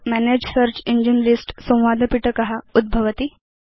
मनगे search engines list संवादपिटक उद्भवति